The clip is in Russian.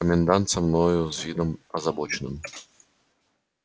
комендант со мною с видом озабоченным